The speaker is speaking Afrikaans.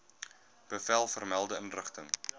bevel vermelde inrigting